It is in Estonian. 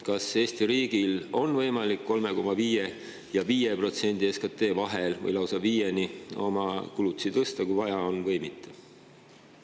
Kas Eesti riigil on võimalik kulutused tõsta tasemele, mis jääb 3,5% ja 5% vahele SKT‑st, või lausa 5%‑ni, kui vaja on, või mitte?